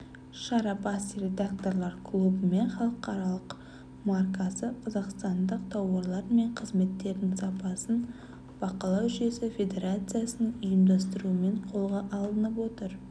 шара бас редакторлар клубы мен халық маркасы қазақстандық тауарлар мен қызметтердің сапасын бақылау жүйесі федерациясының ұйымдастыруымен қолға алынып отыр